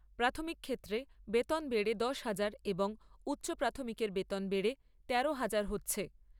প্রাথমিকের ক্ষেত্রে বেতন বেড়ে দশ হাজার এবং উচ্চ প্রাথমিকের বেতন বেড়ে তেরো হাজার হচ্ছে।